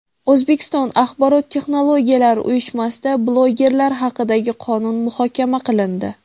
O‘zbekiston Axborot texnologiyalari uyushmasida bloggerlar haqidagi qonun muhokama qilindi.